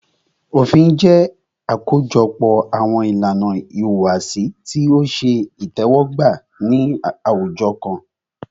Òfin jẹ́ àkójọpọ̀ àwọn ìlànà ìhùwàsí tí o ṣe itẹ́wọ́gbà ní àwùjọ kan.